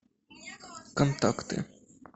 контакты